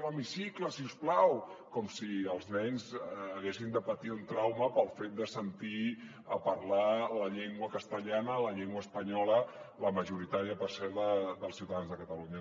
l’he·micicle si us plau com si els nens haguessin de patir un trauma pel fet de sentir a parlar la llengua castellana la llengua espanyola la majoritària per cert dels ciuta·dans de catalunya